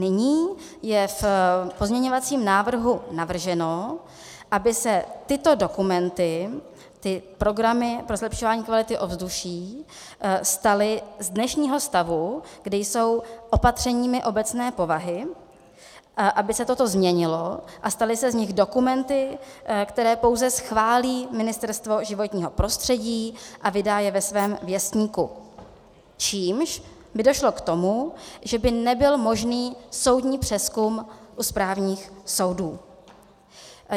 Nyní je v pozměňovacím návrhu navrženo, aby se tyto dokumenty, ty programy pro zlepšování kvality ovzduší, staly z dnešního stavu, kdy jsou opatřeními obecné povahy, aby se toto změnilo a staly se z nich dokumenty, které pouze schválí Ministerstvo životního prostředí a vydá je ve svém věstníku, čímž by došlo k tomu, že by nebyl možný soudní přezkum u správních soudů.